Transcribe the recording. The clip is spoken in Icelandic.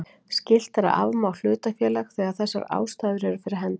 Skylt er að afmá hlutafélag þegar þessar ástæður eru fyrir hendi.